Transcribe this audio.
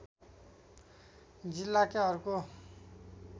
जिल्लाकै अर्को